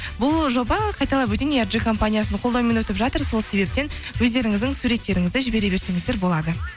бұл жоба қайталап өтейін компаниясының қолдауымен өтіп жатыр сол себептен өздеріңіздің суреттеріңізді жібере берсеңіздер болады